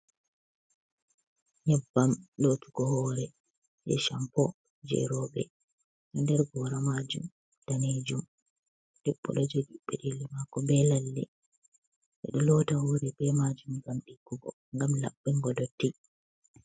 Nyebbam lotugo hore je shampo je robe do nder gora majum danejum, debbobdo jogi bedelli mako be lalle bedo lotta hore be majum ngam dikkugo gam labbango dotti.